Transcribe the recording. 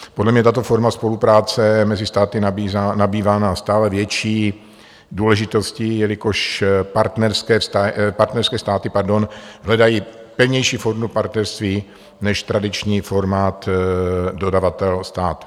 Podle mě tato forma spolupráce mezi státy nabývá na stále větší důležitosti, jelikož partnerské státy hledají pevnější formu partnerství než tradiční formát dodavatel-stát.